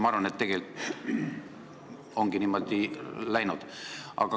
Ma arvan, et tegelikult ongi niimoodi läinud.